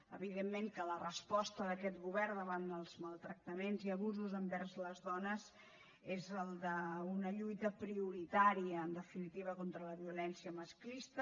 evidentment que la resposta d’aquest govern davant dels maltractaments i abusos envers les dones és el d’una lluita prioritària en definitiva contra la violència masclista